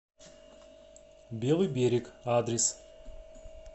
белый берег адрес